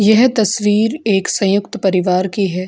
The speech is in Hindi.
यह तस्वीर एक संयुक्त परिवार की है।